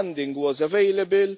Funding was available.